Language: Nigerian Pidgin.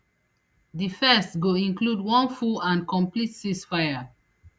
di first go include one full and complete ceasefire